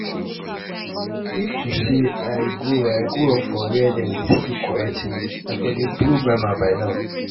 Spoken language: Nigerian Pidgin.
if to say i grow grow up for where dem dey speak correct english i for dey blow grammar by now